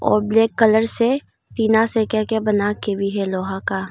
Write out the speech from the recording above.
और black colour से टीना से क्या क्या बना के भी है लोहा का--